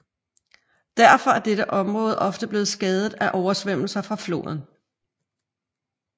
Derfor er dette område ofte blevet skadet af oversvømmelser fra floden